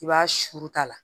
I b'a suuru ta la